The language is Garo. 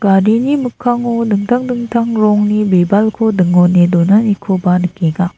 garini mikkango dingtang dingtang rongni bibalko dingone donanikoba nikenga.